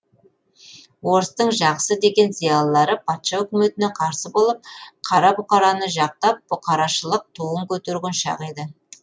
орыстың жақсы деген зиялылары патша өкіметіне қарсы болып қара бұқараны жақтап бұқарашылық туын көтерген шақ еді